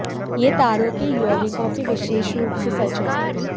यह तारों के यौगिकों के विशेष रूप से सच है